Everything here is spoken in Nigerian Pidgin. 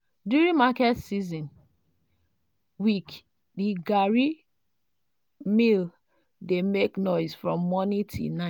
during market season week the garri mill dey make noise from morning till night.